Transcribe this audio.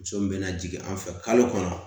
Muso min bɛ na jigin an fɛ kalo kɔnɔ